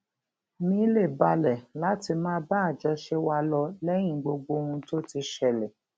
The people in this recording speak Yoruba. mi lè balè láti máa bá àjọṣe wa lọ léyìn gbogbo ohun tó ti ṣẹlè